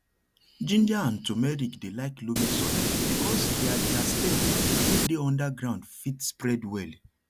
ginger and turmeric dey like loamy soil because their their stem wey dey under ground fit spread well